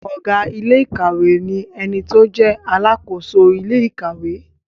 Ọ̀gá iléèkàwé ni ẹni tó jẹ́ alàkóso ilé ìkàwé